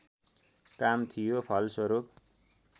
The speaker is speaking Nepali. काम थियो फलस्वरूप